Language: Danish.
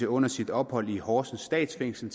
under sit ophold i horsens statsfængsel